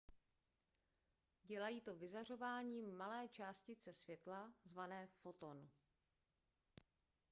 dělají to vyzařováním malé částice světla zvané foton